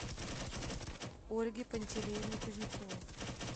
ольге пантелеевне кузнецовой